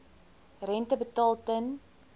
rente betaal ten